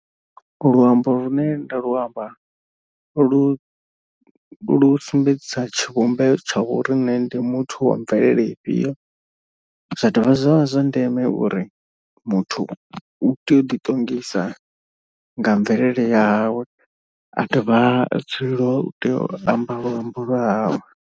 Luambo lune nda lu amba lu lu sumbedzisa tshivhumbeo tsha uri nṋe ndi muthu wa mvelele ifhio. Zwa dovha zwavha zwa ndeme uri muthu u tea u ḓi ṱongisa nga mvelele ya hawe a dovha a dzulele u tea u amba luambo lwa hawe.